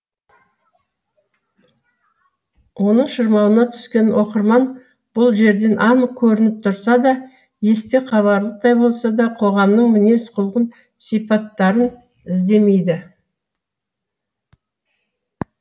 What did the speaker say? оның шырмауына түскен оқырман бұл жерден анық көрініп тұрса да есте қаларлықтай болса да қоғамның мінез құлқын сипаттарын іздемейді